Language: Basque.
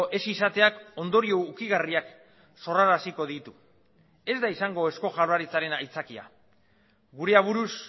ez izateak ondorio ukigarriak sorraraziko ditu ez da izango eusko jaurlaritzaren aitzakia gure aburuz